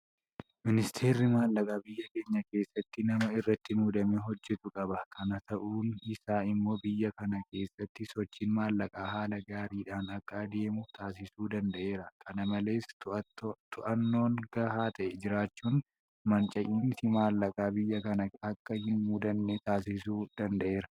Miniisteerri maallaqaa biyya keenya keessatti nama irratti muudamee hojjetu qaba. Kana ta'uun isaa immoo biyya kana keessatti sochiin maallaqaa haala gaariidhaan akka adeemu taasisuu danda'eera. Kana malees to'annoon gahaa ta'e jiraachuun manca'insi maallaqaa biyya kana akka hin mudanne taasisuu danda'eera.